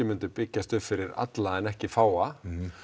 myndu byggjast upp fyrir alla en ekki fáa